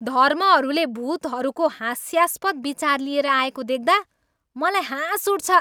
धर्महरूले भुतहरूको हास्यास्पद विचार लिएर आएको देख्दा मलाई हाँस उठ्छ।